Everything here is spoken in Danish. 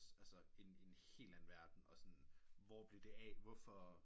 Altså en en helt anden verden og sådan hvor blev hvor blev det af hvorfor